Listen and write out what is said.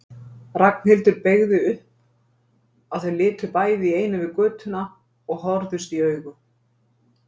Ragnhildur beygði upp, að þau litu bæði í einu yfir götuna og horfðust í augu.